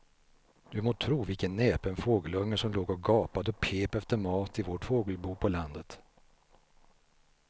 Du må tro vilken näpen fågelunge som låg och gapade och pep efter mat i vårt fågelbo på landet.